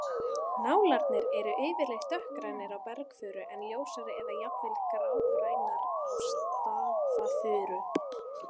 Nálarnar eru yfirleitt dökkgrænar á bergfuru en ljósari eða jafn vel grágrænar á stafafuru.